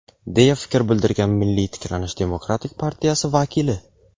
deya fikr bildirgan "Milliy tiklanish" demokratik partiyasi vakili.